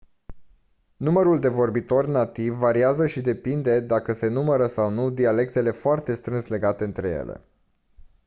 numărul de vorbitori nativi variază și depinde dacă se numără sau nu dialectele foarte strâns legate între ele